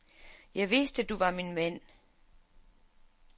Jeg vidste, du var min mand.